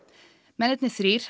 mennirnir þrír